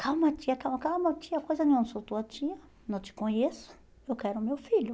Calma, tia, calma, calma, tia, coisa nenhuma, não sou tua tia, não te conheço, eu quero meu filho.